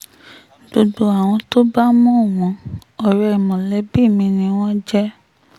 gbogbo àwọn tó bá mọ̀ wọ́n ọ̀rẹ́ mọ̀lẹ́bí mi ni wọ́n jẹ́